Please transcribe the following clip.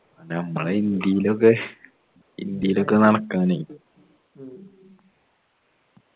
നമ്മളെ ഇന്ത്യയിലൊക്കെ ഇന്ത്യയിലൊക്കെ നടക്കാനെയ്യ്